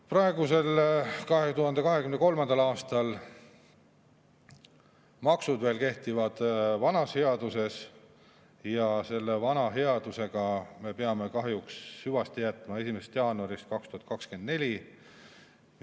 Praegusel, 2023. aastal kehtivad maksud veel vanas headuses, aga selle vana headusega me peame kahjuks hüvasti jätma 1. jaanuarist 2024.